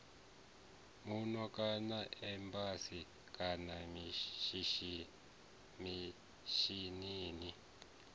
muno kana embasini kana mishinini